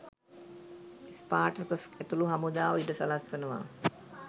Spartacus ඇතුළු හමුදාව ඉඩ සලස්වනවා.